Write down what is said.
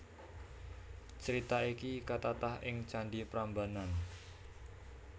Crita iki katatah ing Candhi Prambanan